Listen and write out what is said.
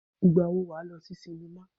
Ìgbà wo ni wà á lọ sí sinimá?